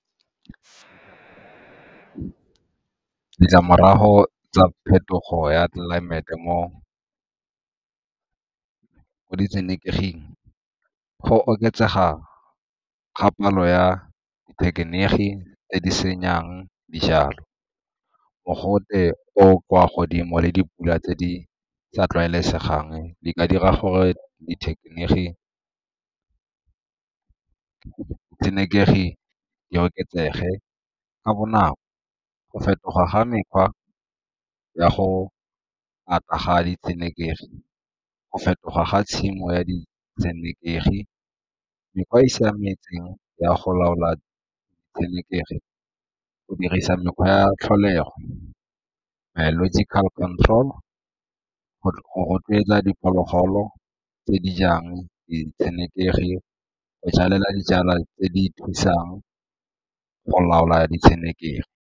Ditlamorago tsa phetogo ya tlelaemete mo ditshenekeging go oketsega ga palo ya dithekeniki tse di senyang dijalo, mogote o o kwa godimo le dipula tse di sa tlwaelesegang di ka dira gore ditshenekegi di oketsege ka bonako. Go fetoga ga mokgwa ka go ata ga ditshenekegi, go fetoga ga tshimo ya ditshenekegi. Mekgwa e e siametseng ya go laola ditshenekegi go dirisa mekgwa ya tlholego, biological control, go rotloetsa diphologolo tse di jang ditshenekegi, go jalela dijalo tse di thusang go laola ditshenekegi.